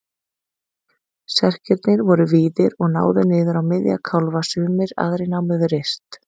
Serkirnir voru víðir og náðu niður á miðja kálfa sumir, aðrir námu við rist.